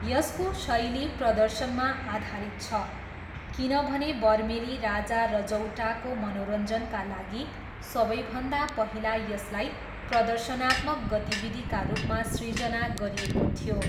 यसको शैली प्रदर्शनमा आधारित छ किनभने बर्मेली राजा रजौटाको मनोरञ्जनका लागि सबैभन्दा पहिला यसलाई प्रदर्शनात्मक गतिविधिका रूपमा सृजना गरिएको थियो।